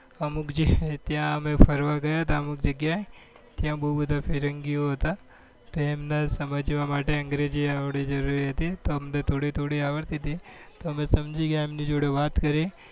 અમુક જે છે ત્યાં અમે ફરવા ગયા હતા અમુક જગ્યા એ ત્યાં બઉ બધા ફિરંગીઓ હતા ત્યાં એમને સમજવા માટે અંગ્રેજી આવડવી જરૂરી હતી તો અમને થોડી થોડી આવડતી હતી તો અમે સમજી ગયા એમની જોડે વાત કરી